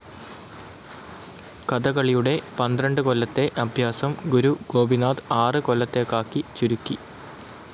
കഥകളിയുടെ പന്ത്രണ്ട് കൊല്ലത്തെ അഭ്യാസം ഗുരു ഗോപിനാഥ് ആറ് കൊല്ലത്തേക്കാക്കി ചുരുക്കി.